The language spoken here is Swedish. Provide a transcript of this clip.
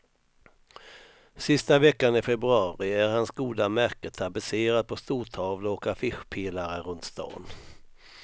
Sista veckan i februari är hans goda märke tapetserat på stortavlor och affischpelare runt stan.